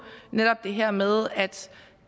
netop det her med at